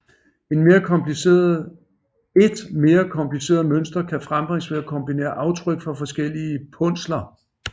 Et mere kompliceret mønster kan frembringes ved at kombinere aftryk fra forskellige punsler